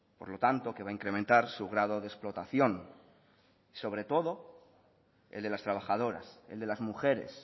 por lo tanto que va a incrementar su grado de explotación y sobre todo el de las trabajadoras el de las mujeres